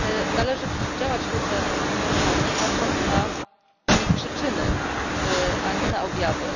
Należy przeciwdziałać luce emerytalnej, patrząc na jej przyczyny, a nie na objawy.